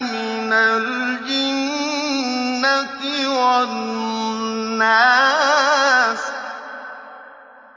مِنَ الْجِنَّةِ وَالنَّاسِ